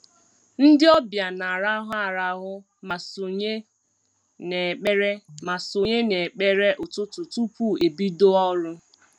Ndị ọbịa na-arahụ arahụ ma sonye n'ekpere ma sonye n'ekpere ụtụtụ tupu e bido ọrụ